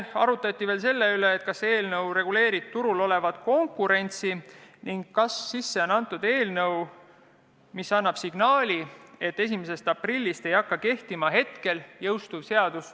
Arutati ka selle üle, kas eelnõu reguleerib turul olevat konkurentsi ning kas sisseantud eelnõu annab signaali, et 1. aprillist hetkel kehtiv seadus ei jõustu.